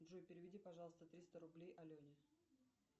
джой переведи пожалуйста триста рублей алене